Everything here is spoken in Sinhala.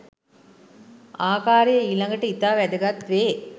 ආකාරය ඊළඟට ඉතා වැදගත් වේ.